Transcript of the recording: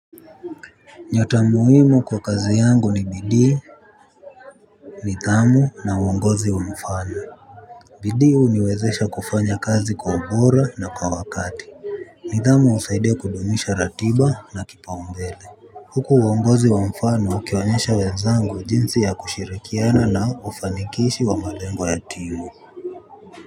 Nyota muhimu kwa kazi yangu ni bidii. Nidhamu na uongozi wa mfano bidii huniwezesha kufanya kazi kwa ubora na kwa wakati. Nidhamu husaidia kudumisha ratiba na kipaumbele huku uongozi wa mfano ukionyesha wenzangu jinsi ya kushirikiana na ufanikishi wa malengo ya timu.